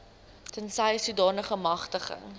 tensy sodanige magtiging